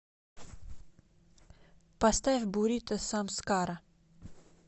поставь бурито самскара